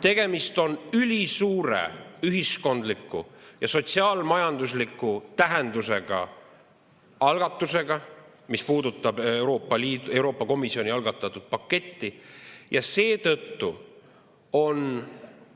Tegemist on ülisuure ühiskondliku ja sotsiaal-majandusliku tähendusega algatusega, mis puudutab Euroopa Komisjoni algatatud paketti, seetõttu on